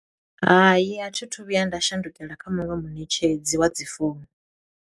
Hai, a thi thu vhuya nda shandukela kha muṅwe muṋetshedzi wa dzi founu.